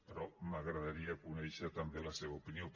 però m’agradaria conèixer també la seva opinió